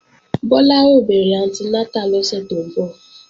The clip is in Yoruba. Bọ́lá ó bẹ̀rẹ̀ anti nátà lọ́sẹ̀ tó ń bọ̀